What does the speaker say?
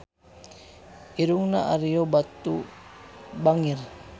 Irungna Ario Batu bangir